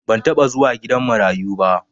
ban taba zuwa gidan marayuba